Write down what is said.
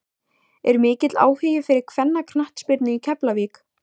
Er mikill áhugi fyrir kvennaknattspyrnu í Keflavík?